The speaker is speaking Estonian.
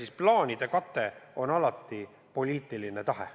Eks plaanide kate sõltub alati poliitilisest tahtest.